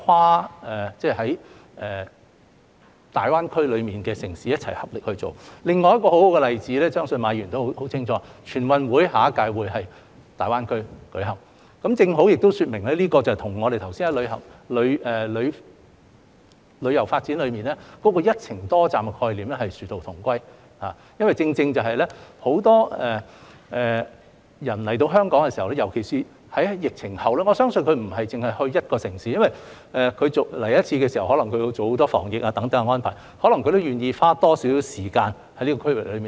另有一個很好的例子，我相信馬議員也很清楚，下屆中華人民共和國全國運動會將會在大灣區舉行，正好說明這跟我們剛才提及旅遊發展"一程多站"的概念殊途同歸，因為有很多人前來香港，尤其是在疫情後，我相信他們不會只前往一個城市，他們前來的時候，可能要做很多防疫等安排，所以或會願意多花一些時間留在區域內。